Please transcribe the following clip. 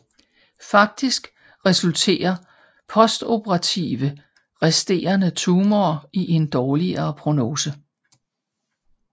Faktisk resulterer postoperative resterende tumorer i en dårligere prognose